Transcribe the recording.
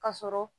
Ka sɔrɔ